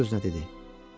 Öz-özünə dedi.